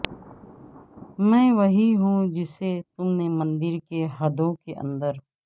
میں وہی ہوں جسے تم نے مندر کی حدوں کے اندر